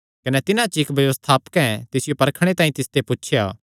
कने तिन्हां च इक्क व्यवस्थापकें तिसियो परखणे तांई तिसते पुछया